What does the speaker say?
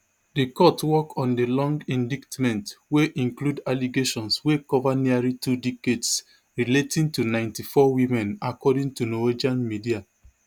di court work on di long indictment wey include allegations wey cover nearly two decades relating to ninety-four women according to norwegian media